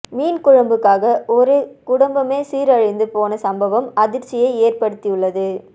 மீன் குழம்புக்காக ஒரு குடும்பமே சீரழிந்து போன சம்பவம் அதிர்ச்சியை ஏற்படுத்தியுள்ளது